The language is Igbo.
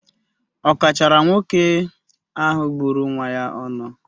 Ọ kọchaara nwoke ahụ gburu nwa ya ọnụ?